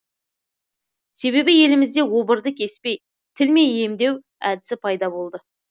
себебі елімізде обырды кеспей тілмей емдеу әдісі пайда болды